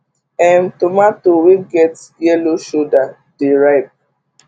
um tomato wey get yellow shoulder dey ripe